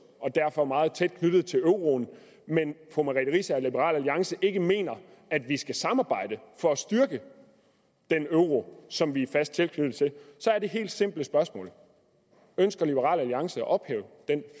og derfor meget tæt knyttet til euroen men fru merete riisager og liberal alliance ikke mener at vi skal samarbejde for at styrke den euro som vi er fast tilknyttet er det helt simple spørgsmål ønsker liberal alliance at ophæve den